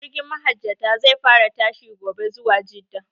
Jirgin mahajjata zai fara tashi gobe zuwa jidda